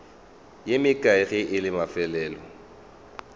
ye mekae ge la mafelelo